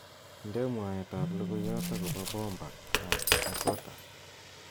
inde mwaet ab logoyot agopo bomba ab dakota